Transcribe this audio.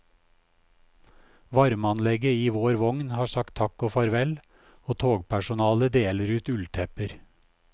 Varmeanlegget i vår vogn har sagt takk og farvel, og togpersonalet deler ut ulltepper.